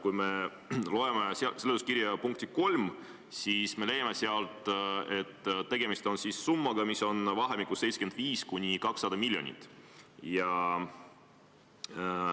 Kui me loeme seletuskirja 3. punkti, siis leiame sealt, et tegemist on summaga, mis on vahemikus 75–200 miljonit.